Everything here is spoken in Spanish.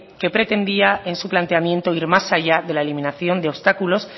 que pretendía en su planteamiento ir más allá de la eliminación de obstáculos